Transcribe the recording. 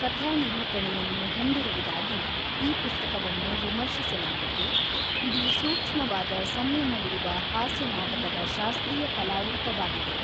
ಕಥಾನಿರೂಪಣೆಯನ್ನು ಹೊಂದಿರುವುದಾಗಿ ಈ ಪುಸ್ತಕವನ್ನು ವಿಮರ್ಶಿಸಲಾಗಿದ್ದು, ಇದು ಸೂಕ್ಷ್ಮವಾದ ಸಂಯಮವಿರುವ ಹಾಸ್ಯನಾಟಕದ ಶಾಸ್ತ್ರೀಯ ಕಲಾ ರೂಪವಾಗಿದೆ.